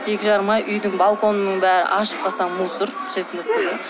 екі жарым ай үйдің балконының бәрі ашып қалсам мусор честно сказать